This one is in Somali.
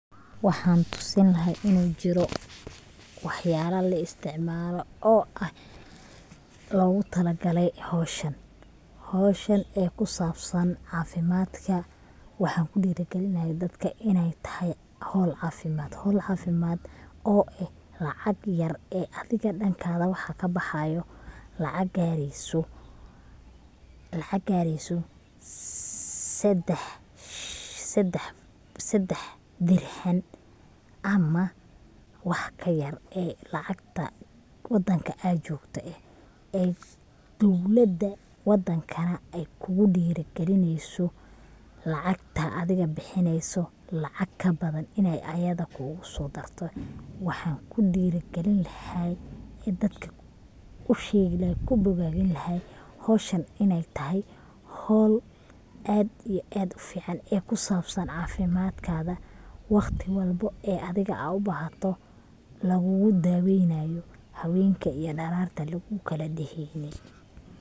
Waxan tusini lahay inu jiro wax yala la isticmaalo oo ah logu talagale howshan, howshan ee sababsan caafimadka waxan kudhiiri gelin lahay dadka inay tahay howl caafimad, howl caafimad oo eh lacag yar ee adiga dhanka waxa kabaxaayo lacag gaareyso sedex Dirhan ama wax ka yar lacagta wadanka ad jogte eh dowlada wadankana ay kugudhiiri gelineyso lacagta adiga bixineysa i lacag kabadan inay ayada kuguso darto, waxan kudhiiri gelin lahay ee dadka usheegi lahaa kubogaadin lahaa howshan inay tahay howl aad iyo aad u fican oo kusabsan caafimadkada, waqti walbo ee adiga ad ubahato lugugu daaweynayo, haweenka iyo dhararta lugugu kala deheynayo.